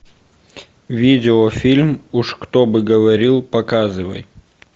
видео фильм уж кто бы говорил показывай